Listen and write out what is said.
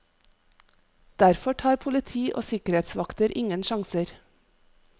Derfor tar politi og sikkerhetsvakter ingen sjanser.